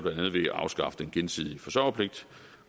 afskaffe den gensidige forsørgerpligt